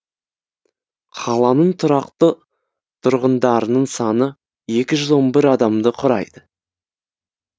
қаланың тұрақты тұрғындарының саны екі жүз он бір адамды құрайды